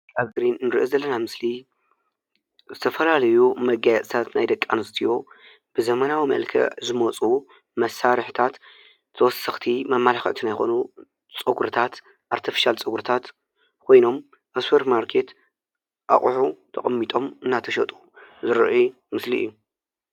ኣብዚ ንሪኦ ዘለና ምስሊ ዝተፈላለዩ መጋየፅታት ናይ ደቂ ኣንስትዮ ብዘመናዊ መልክዕ ዝመፁ መሳርሕታት ተወሰኽቲ መመላክዕቲ ይኹኑ ፀጉርታት ኣርተፍሻል ፀጉርታት ኮይኖም ኣብ ሱፐር ማርኬት ኣቑሑ ተቐሚጦም እናተሸጡ ዝርአይሉ ምስሊ እዩ፡፡